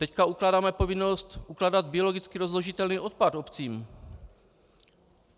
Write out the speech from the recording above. Teď ukládáme povinnost ukládat biologicky rozložitelný odpad obcím.